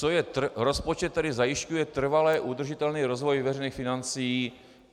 Co je rozpočet, který zajišťuje trvale udržitelný rozvoj veřejných financí?